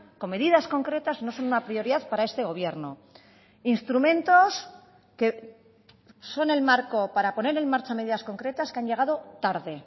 con medidas concretas no son una prioridad para este gobierno instrumentos que son el marco para poner en marcha medidas concretas que han llegado tarde